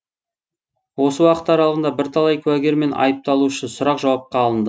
осы уақыт аралығында бірталай куәгер мен айыпталушы сұрақ жауапқа алынды